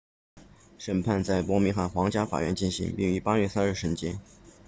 审判在伯明翰皇家法院进行并于8月3日审结